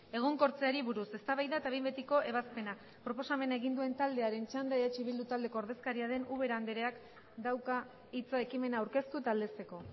egonkortzeari buruz eztabaida eta behin betiko ebazpena proposamena egin duen taldearen txanda eh bildu taldeko ordezkaria den ubera andreak dauka hitza ekimena aurkeztu eta aldezteko